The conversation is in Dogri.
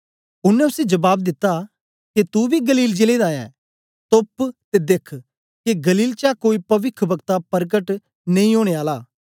उनै उसी जबाब दित्ता के तू बी गलील जिले दा ऐं तोप्प ते देख्ख के गलील चा कोई पविखवक्ता परकट नेई ओनें आला